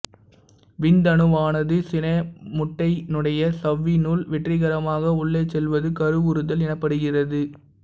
விந்தணுவானது சினை முட்டையினுடைய சவ்வினுள் வெற்றிகரமாக உள்ளே செல்வது கருவுறுதல் எனப்படுகிறது